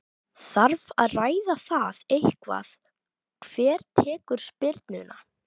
Þarf að ræða það eitthvað hver tekur spyrnuna?